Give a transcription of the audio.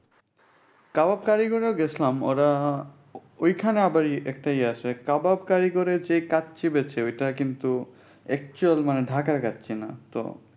কাবাব কারিগরা গেছিলাম ওরা ঐখানে আবার একটা ইয়া আছে কাবাব কারিগরে যে কাচ্চি বেঁচে ঐটা কিন্তু actual ঢাকার কাচ্চিনা। তো